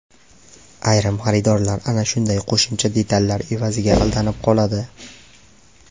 Ayrim xaridorlar ana shunday qo‘shimcha detallar evaziga aldanib qoladi.